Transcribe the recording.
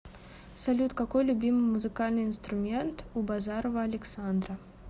салют какой любимый музыкальный инструмент у базарова александра